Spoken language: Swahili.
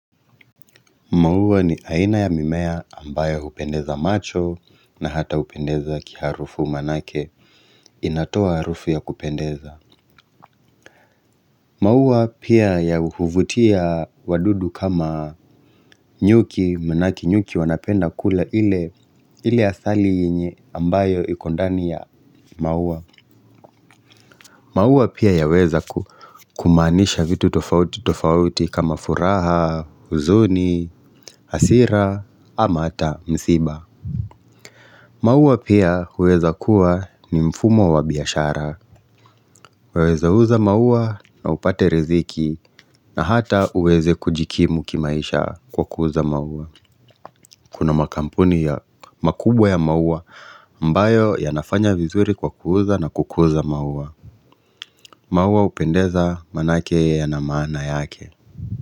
Mauwa ni aina ya mimea ambayo hupendeza macho na hata hupendeza kiarufu maanake inatoa harufu ya kupendeza Mauwa pia ya huvutia wadudu kama nyuki maanake nyuki wanapenda kula ile asali yenye ambayo ikondani ya maua maua pia ya weza kumaanisha vitu tofauti tofauti kama furaha, huzuni, hasira ama ata msiba maua pia huweza kuwa ni mfumo wa biashara, waweza uza maua na upate riziki na hata uweze kujikimu kimaisha kwa kuuza mauwa. Kuna makampuni ya makubwa ya maua ambayo yanafanya vizuri kwa kuuza na kukuza maua. Maua hupendeza maanake yana maana yake.